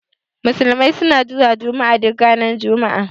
Musulmi suna zuwa juma'a duk ranar juma'a.